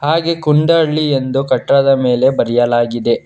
ಹಾಗೆ ಕುಂಡಹಳ್ಳಿ ಎಂದು ಕಟ್ಟಡದ ಮೇಲೆ ಬರೆಯಲಾಗಿದೆ.